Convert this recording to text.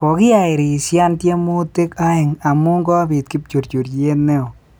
Kogihairisyan tiemutik aeng amu kobiit kipchurchuriet neoo